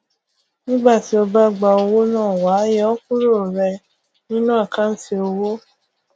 nígbà tí o bá gba owó náà wàá yọ ọ kúrò rẹ nínú àkántì owó